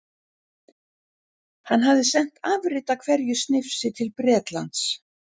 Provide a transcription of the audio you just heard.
Hann hafði sent afrit af hverju snifsi til Bretlands.